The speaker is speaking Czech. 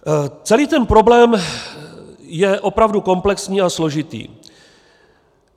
Celý ten problém je opravdu komplexní a složitý.